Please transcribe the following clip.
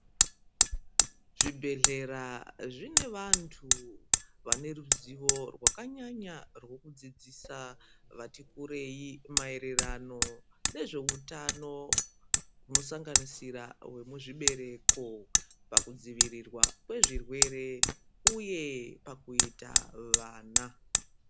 Zvibhedhlera zvine vantu vane ruzivo rwakanyanya rekudzidzisa vati kurei maererano nezvehutano inosanganisira zvechibereko pakudzivirirwa zvezvirwere uye pakuita vana.